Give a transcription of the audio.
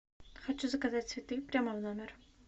хочу заказать цветы прямо в номер